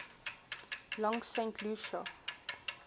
langs st lucia